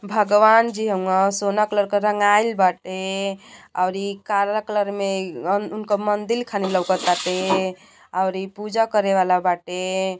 भगवानजी हउवन सोना कलर के रंगाइल बाटे औरी काला कलर में उनकर मंदिर खानी लउकताते ओरी पूजा करे वाला बाटे।